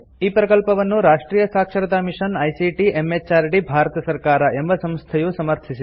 ಈ ಪ್ರಕಲ್ಪವನ್ನು ರಾಷ್ಟ್ರಿಯ ಸಾಕ್ಷರತಾ ಮಿಷನ್ ಐಸಿಟಿ ಎಂಎಚಆರ್ಡಿ ಭಾರತ ಸರ್ಕಾರ ಎಂಬ ಸಂಸ್ಥೆಯು ಸಮರ್ಥಿಸಿದೆ